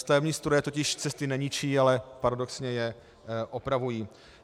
Stavební stroje totiž cesty neničí, ale paradoxně je opravují.